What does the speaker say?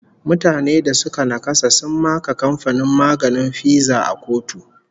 Mutane da suka naƙasa sun maka kamfanin maganin Pfizer a kotu